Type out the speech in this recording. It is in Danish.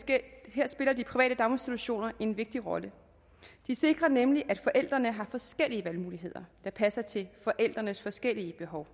her spiller de private daginstitutioner en vigtig rolle de sikrer nemlig at forældrene har forskellige valgmuligheder der passer til forældrenes forskellige behov